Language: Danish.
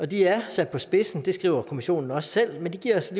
de er sat på spidsen det skriver kommissionen også selv men det giver os